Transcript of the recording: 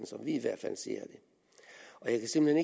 som vi i hvert fald ser den og jeg kan simpelt